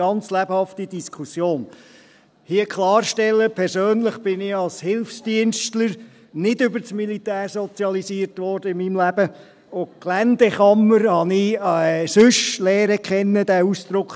Als Hilfsdienstler wurde ich persönlich in meinem Leben nicht über das Militär sozialisiert und habe den Ausdruck «Geländekammern» anderweitig kennengelernt;